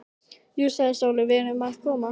Jú, sagði Sóley, við erum að koma.